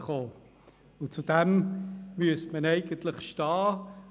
Dazu müsste man eigentlich stehen.